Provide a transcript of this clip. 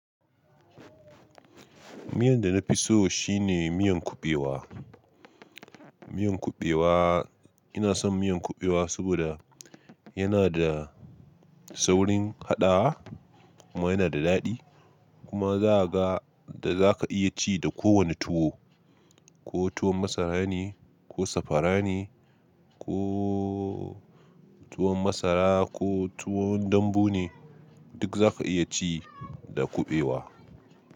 Miyan da na fi so shine miyan kuɓewa. Miyan kuɓewa, ina son miyan kuɓewa saboda yana da saurin haɗawa kuma yana da daɗi. Kuma za a ga da za ka iya ci da kowane tuwo, ko tuwon masara ne ko safara ne, ko tuwon masara ko tuwon dambu ne, duk za ka iya ci da kuɓewa.